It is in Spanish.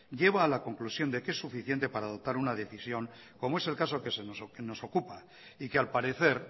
lleva a la conclusión de que es suficiente para adoptar una decisión como es el caso que nos ocupa y que al parecer